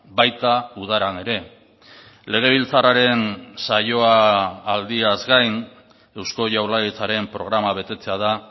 baita udaran ere legebiltzarraren saioa aldiaz gain eusko jaurlaritzaren programa betetzea da